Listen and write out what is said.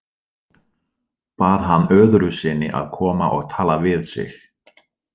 Bað hann öðru sinni að koma og tala við sig.